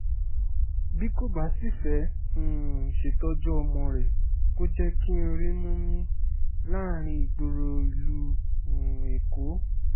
bí kò bá sì fẹ́ẹ́ um ṣètọ́jú ọmọ rẹ̀ kó jẹ́ kí n rímú mí láàrin ìgboro ìlú um èkó